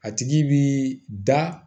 A tigi bi da